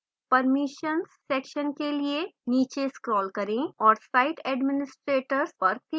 permissions section के लिए नीचे scroll करें और site administrators पर click करें